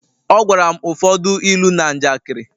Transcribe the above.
Ọ gwara m ụfọdụ ilu na njakịrị